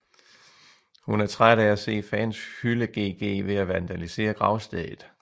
Hun er træt af at se fans hylde GG ved at vandalisere gravstedet